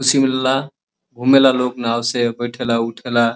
खुशी मिलेला। घूमेला लोग नाव से। बैठे ला उठे ला।